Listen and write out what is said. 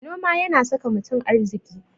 Noma yana saka mutum arziki.